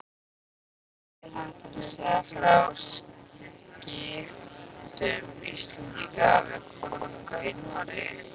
Margir þættirnir segja frá skiptum Íslendinga við konunga í Noregi.